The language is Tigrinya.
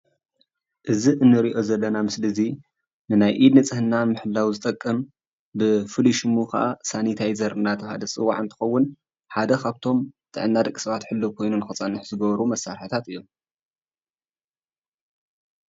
እዚ እንሪኦም ዘለና ምስሊ እዚ ናይ ኢድ ንፅህና ንምሕላው ዝጠቅም ብፍላይ ስሙ ሰንተሳዘር ሓደ ካብቶ ጥዕና ወዲ ሰባት ክህሎ ዝገብር እዩ;;